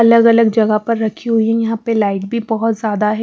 अलग-अलग जगह पर रखी हुई है यहां पर लाइट भी बहुत ज्यादा है.